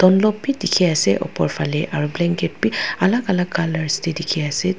lop bhi dekhi ase opor fele aru blanket bhi alag alga colour te dekhi ase.